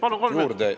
Palun, kolm juurde!